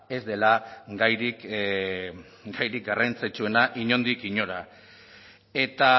ez dela gairik garrantzitsuena inondik inora eta